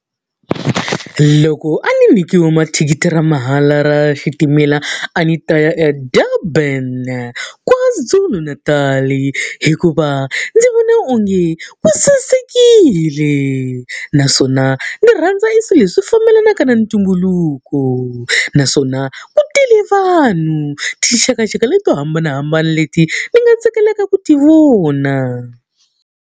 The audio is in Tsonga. Loko a ni nyikiwe mathikithi ra mahala ra xitimela, a ni ta ya eDurban KwaZulu-Natal-i hikuva ndzi vona onge ku sasekile, naswona ni rhandza eswilo leswi fambelanaka na ntumbuluko. Naswona ku tele vanhu, tinxakanxaka leti to hambanahambana leti ni nga tsakelaka ku ti vona.